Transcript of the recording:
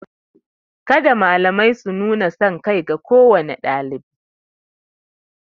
Kada malamai su nuna sankai ga kowane ɗalibi.